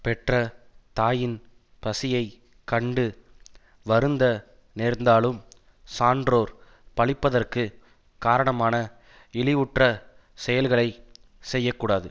பெற்ற தாயின் பசியை கண்டு வருந்த நேர்ந்தாலும் சான்றோர் பழிப்பதற்குக் காரணமான இழிவுற்ற செயல்களை செய்ய கூடாது